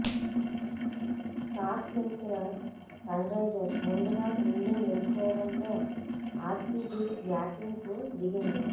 toss గెలిచిన Sunrisers ముందుగా fielding ఎంచుకోవడంతో ఆర్సీబీ బ్యాటింగ్కు దిగింది